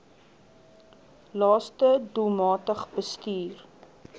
laste doelmatig bestuur